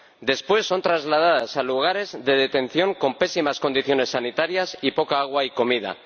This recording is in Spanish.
Después son trasladadas a lugares de detención con pésimas condiciones sanitarias y poca agua y comida.